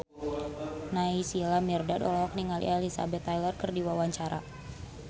Naysila Mirdad olohok ningali Elizabeth Taylor keur diwawancara